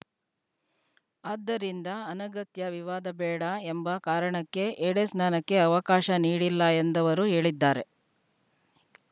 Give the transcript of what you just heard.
ಆದ್ದರಿಂದ ಅನಗತ್ಯ ವಿವಾದ ಬೇಡ ಎಂಬ ಕಾರಣಕ್ಕೆ ಎಡೆಸ್ನಾನಕ್ಕೆ ಅವಕಾಶ ನೀಡಿಲ್ಲ ಎಂದವರು ಹೇಳಿದ್ದಾರೆ